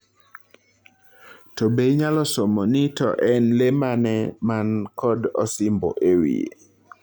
To be inyalo somo ni to en lee maneni man kod osimbo ewiye